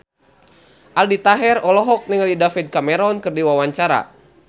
Aldi Taher olohok ningali David Cameron keur diwawancara